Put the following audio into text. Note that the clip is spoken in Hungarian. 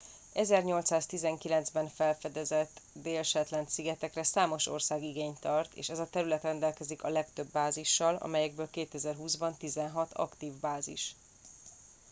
az 1819 ben felfedezett déli shetland szigetekre számos ország igényt tart és ez a terület rendelkezik a legtöbb bázissal amelyekből 2020 ban tizenhat aktív bázis